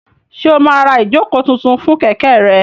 Ṣé o máa ra ìjókòó tuntun fún kẹ̀kẹ́ rẹ?